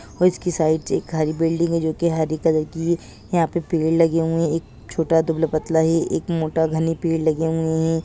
और इसकी साइड से एक हरी बिल्डिंग है जो की हरे कलर की है यहाँ पे पेड़ लगे हुए है एक छोटा दुबला पतला है एक मोटा घने पेड़ लगे हुए है।